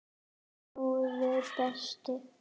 Góði besti.